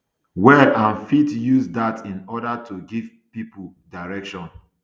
well and fit use dat in order to give pipo direction